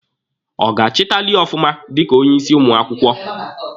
Ọ ga-achịtali ọfụma dika onye isi ụmụ akwụkwọ?